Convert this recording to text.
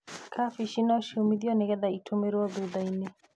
Kabici no ciũmithio nĩgetha itũmĩrwo thutha-inĩ.